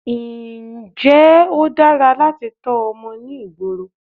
Ǹjẹ́ ó dára láti tọ́ ọmọ ní ìgboro?